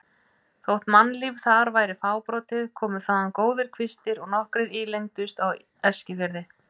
Þótt mannlíf þar væri fábrotið komu þaðan góðir kvistir og nokkrir ílengdust á Eskifirði.